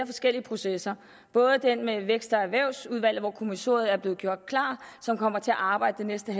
forskellige processer både den med vækst og erhvervsudvalget hvor kommissoriet er blevet gjort klart og som kommer til at arbejde det næste